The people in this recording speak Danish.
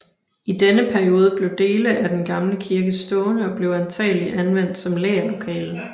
I denne periode blev dele af den gamle kirke stående og blev antagelig anvendt som lagerlokale